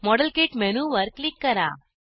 model kit मेनूवर click करा